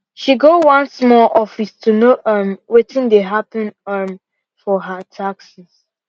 she go one small office to know um wetin dey happen um for her taxes